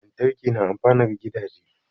Lantarki na amfanar gidaje